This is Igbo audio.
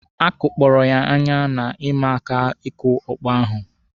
A kụpkọrọ ya anya na ịma aka ịkụ ọkpọ ahụ.